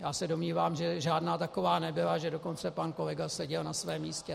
Já se domnívám, že žádná taková nebyla, že dokonce pan kolega seděl na svém místě.